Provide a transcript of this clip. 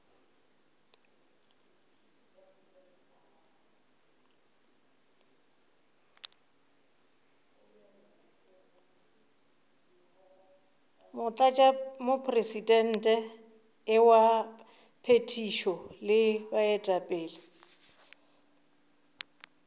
motlatšamopresidente wa phethišo le baetapele